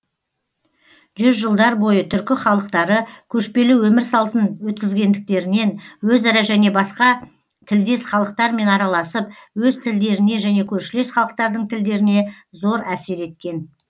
жүз жылдар бойы түркі халықтары көшпелі өмір салтын өткізгендіктерінен өзара және басқа тілдес халықтармен араласып өз тілдеріне және көршілес халықтардың тілдеріне зор әсер еткен